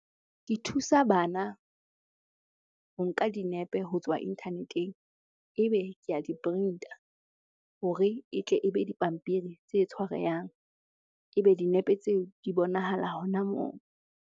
Ke thusa bana ho nka dinepe ho tswa internet-eng, ebe ke a di-print-a hore e tle ebe dipampiri tse tshwarehang. Ebe dinepe tseo di bonahala hona moo.